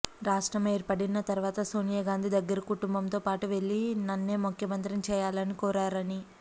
రాష్ట్రం ఏర్పడిన తర్వాత సోనియాగాంధీ దగ్గరకు కుటుంబంతో పాటు వెళ్లి నన్నే ముఖ్యమంత్రిని చేయాలని కోరారని